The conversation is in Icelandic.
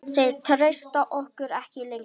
Þeir treysta okkur ekki lengur.